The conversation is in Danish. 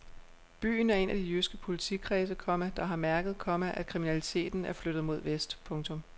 Byen er en af de jyske politikredse, komma der har mærket, komma at kriminaliteten er flyttet mod vest. punktum